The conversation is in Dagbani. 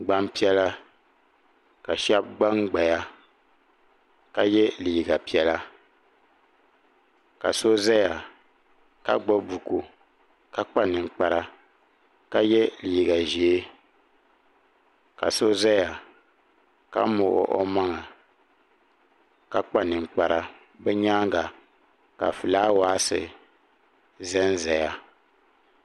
Gbampiɛla ka sheba gbangbaya ka ye liiga piɛla ka so zaya ka gbibi buku ka kpa ninkpara ka ye liiga ʒee ka so zaya ka muɣi o maŋa ka kpa ninkpara bɛ nyaanga ka filaawaasi zanzaya.